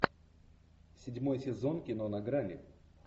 седьмой сезон кино на грани